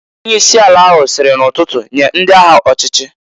Onye isi ala ahụ siri n'ụtụtụ, "Nye ndị agha ọchịchị!"